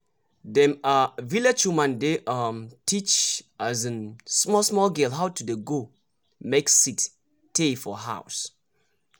dem um village woman dey um teach um small small girl how dey go make seed tey for house